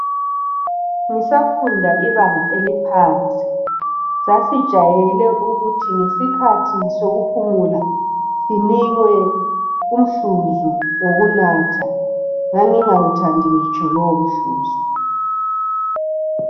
Ngisafunda ibanga eliphansi, sasijayele ukuthi ngesikhathi sokuphumula sinikwe umhluzu wokunatha. Ngangingawuthandi ngitsho lowomhluzu.